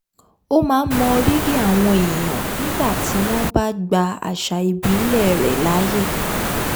ó máa ń mọrírì àwọn èèyàn nígbà tí wọ́n bá gba àṣà ìbílẹ̀ rẹ̀ láyè